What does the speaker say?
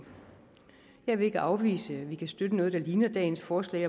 jeg vil ikke afvise at vi kan støtte noget der ligner dagens forslag